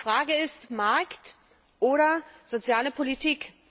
Die Frage ist, Markt oder soziale Politik?